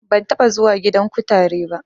Ban taɓa zuwa gidan kutare ba